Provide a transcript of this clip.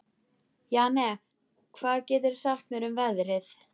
Jane, hvað geturðu sagt mér um veðrið?